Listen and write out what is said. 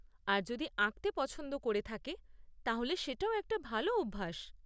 আর যদি আঁকতে পছন্দ করে থাকে তাহলে সেটাও একটা ভালো অভ্যাস।